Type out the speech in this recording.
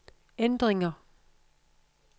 ændringer